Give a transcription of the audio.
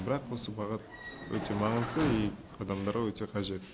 бірақ осы бағыт өте маңызды и адамдарға өте қажет